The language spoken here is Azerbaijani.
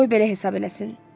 Qoy belə hesab eləsin.